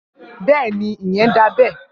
Bẹẹni, Iyen da bẹ.